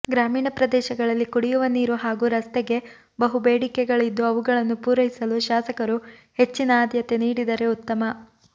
ಗ್ರಾಮೀಣ ಪ್ರದೇಶಗಳಲ್ಲಿ ಕುಡಿಯುವ ನೀರು ಹಾಗೂ ರಸ್ತೆಗೆ ಬಹು ಬೇಡಿಕೆಗಳಿದ್ದು ಅವುಗಳನ್ನು ಪೂರೈಸಲು ಶಾಸಕರು ಹೆಚ್ಚಿನ ಆಧ್ಯತೆ ನೀಡಿದರೆ ಉತ್ತಮ